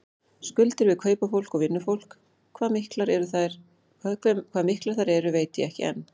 Skuldir við kaupafólk og vinnufólk, hvað miklar þær eru veit ég ekki enn.